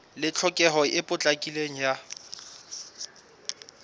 le tlhokeho e potlakileng ya